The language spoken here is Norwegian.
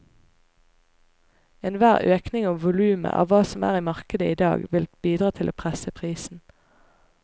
Enhver økning i volumet av hva som er i markedet i dag vil bidra til å presse prisen.